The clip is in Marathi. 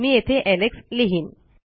मी येथे Alexलिहिन